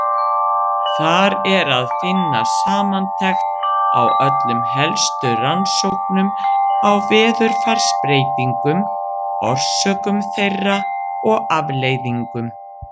Þar er að finna samantekt á öllum helstu rannsóknum á veðurfarsbreytingum, orsökum þeirra og afleiðingum.